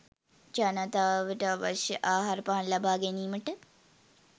ජනතාවට අවශ්‍ය ආහාරපාන ලබා ගැනීමට